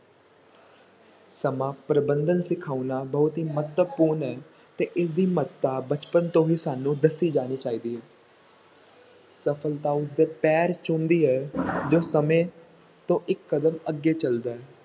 ਸਮਾਂ ਪ੍ਰਬੰਧਨ ਸਿਖਾਉਣਾ ਬਹੁਤ ਹੀ ਮਹੱਤਵਪੂਰਨ ਹੈ ਤੇ ਇਸ ਦੀ ਮਹੱਤਤਾ ਬਚਪਨ ਤੋਂ ਹੀ ਸਾਨੂੰ ਦੱਸੀ ਜਾਣੀ ਚਾਹੀਦੀ ਹੈ ਸਫਲਤਾ ਉਸ ਦੇ ਪੈਰ ਚੁੰਮਦੀ ਹੈ ਜੋ ਸਮੇਂ ਤੋਂ ਇੱਕ ਕਦਮ ਅੱਗੇ ਚੱਲਦਾ ਹੈ।